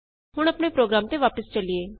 ਹੁਣ ਆਪਣੇ ਪ੍ਰੋਗਰਾਮ ਤੇ ਵਾਪਸ ਚਲੀਏ